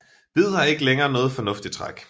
Hvid har ikke længere noget fornuftigt træk